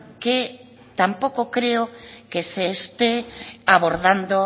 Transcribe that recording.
que tampoco creo que se esté abordando